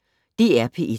DR P1